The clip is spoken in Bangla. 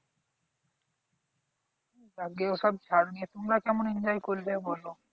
যাকগে ওসব থাক। তুমরা কেমন enjoy করলে বল?